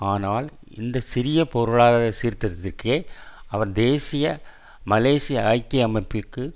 ஆனால் இந்த சிறிய பொருளாதார சீர்திருத்ததிற்கே அவர் தேசிய மலேசிய ஐக்கிய அமைப்பிற்குள்